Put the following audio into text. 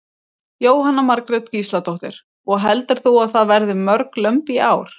Jóhanna Margrét Gísladóttir: Og heldur þú að það verði mörg lömb í ár?